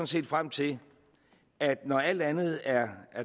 set frem til at når alt andet er